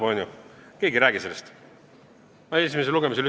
Aga nüüd keegi ei räägi sellest, ma seda esimesel lugemisel ütlesin juba.